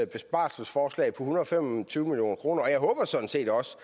besparelsesforslag på en hundrede og fem og tyve million kroner og jeg håber sådan set også